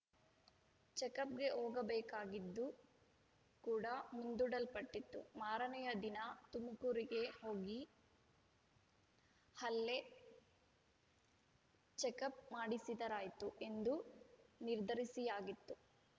ಚೆಕಪ್‌ಗೆ ಹೋಗಬೇಕಾಗಿದ್ದು ಕೂಡ ಮುಂದೂಡಲ್ಪಟ್ಟಿತ್ತು ಮಾರನೆಯ ದಿನ ತುಮಕೂರಿಗೆ ಹೋಗಿ ಅಲ್ಲೇ ಚೆಕಪ್‌ ಮಾಡಿಸಿದರಾಯ್ತು ಎಂದೂ ನಿರ್ಧರಿಸಿಯಾಗಿತ್ತು